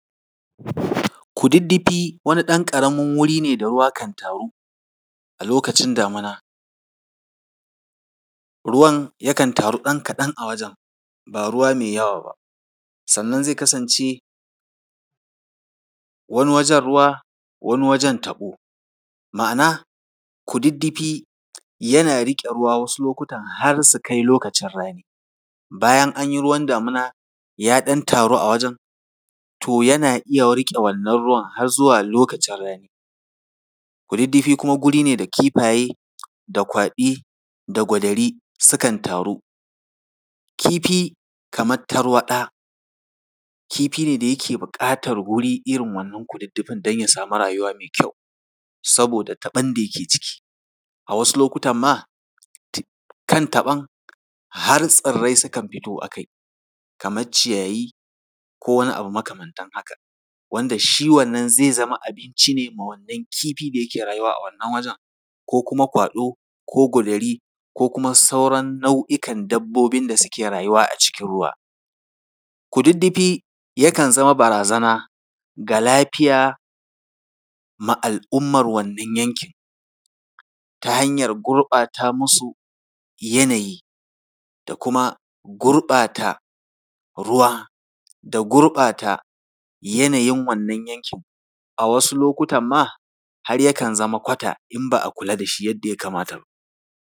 Kududdufi wani ɗan ƙaramin wuri ne da ruwa kan taru a lokacin damina. Ruwan yakan taru ɗan kaɗa a wajen, ba ruwa mai yawa ba. Sannan zai kasance, wani wajen ruwa, wani wajen taɓo. ma’ana, kududdufi yana riƙe ruwa wasu lokutan har su kai lokacin rani. Bayan an yi ruwan damina, ya ɗan taru a wajen, to yana iya riƙe wannan ruwan har zuwa lokacin rani. Kududdufi kuma wuri ne da kifaye da kwaɗi da gwadari sukan taru. Kifi kamar tarwaɗa, kifi ne da yake buƙatar irin wannan kududdufin don ya samu rayuwa mai kyau, saboda taɓon da yake ciki. A wasu lokutan ma, kan taɓon har tsirrai sukan fito a kai, kamar ciyayi, ko wani abu makamantan haka, wanda shi wannan zai zama abinci ne ma wannan kifi da yake rayuwa a wannan wajen, ko kuma kwaɗo ko gwadari ko kuma sauran nau’ikan dabbobin da suke rayuwa a cikin ruwa. Kududdufi yakan zama barazana ga lafiya ma al’ummar wannan yankin, ta hanyar gurɓata musu yanayi da kuma gurɓata ruwa da gurɓata yanayin wannan yankin. A wasu lokutan ma, har yakan zama kwata, in ba a kula da shi yadda ya kamata ba.